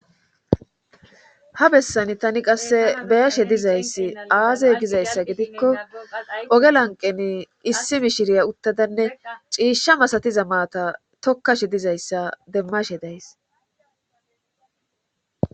ha bessani tani qasse beyashe dizayssi aaze gizayssa gidikko oge lanqeni issi mishiriya uttadanne ciishsha masatiza maata tokkashe dizayssa demmashe days